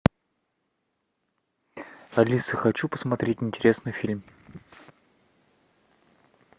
алиса хочу посмотреть интересный фильм